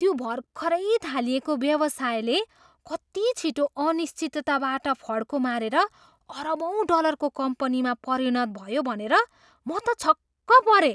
त्यो भर्खरै थालिएको व्यवसायले कति छिटो अनिश्चितताबाट फड्को मारेर अरबौँ डलरको कम्पनीमा परिणत भयो भनेर म त छक्क परेँ।